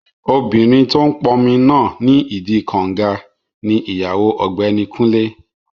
Obìnrin tó n pọnmi náà nídi kànga ní ìyàwó ọ̀gbẹ́ni Kúnlé